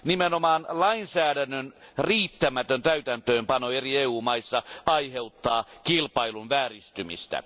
Nimenomaan lainsäädännön riittämätön täytäntöönpano eri EU maissa aiheuttaa kilpailun vääristymistä.